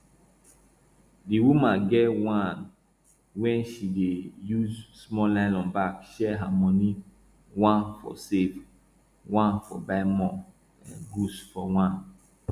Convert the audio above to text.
di woman get one way wey she dey use small nylon bag share her money one for save one for buy more goods for one